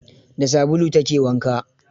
Da sabulu ta ke wanka.